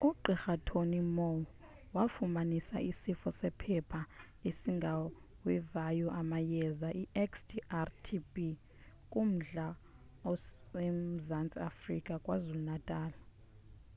ugqr. tony moll wafumanisa isifo sephepha esingawevayo amayeza xdr-tb kummandla osemzantsi afrika kwazulu-natal